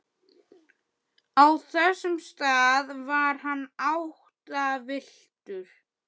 Á þessum stað var hann áttavilltur.